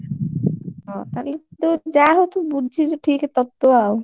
ତୁ ଯାହା ହଉ ତୁ ବୁଝିଛୁ ଠିକ ତତ୍ତ୍ୱ ଆଉ।